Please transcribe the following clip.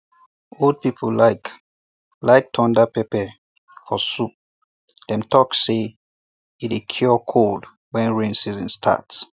old people like like thunder pepper for soup dem talk say e dey cure cold when rain season start